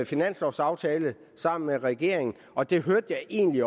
finanslovsaftale sammen med regeringen og det hørte jeg egentlig